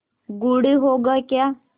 गुड़ होगा क्या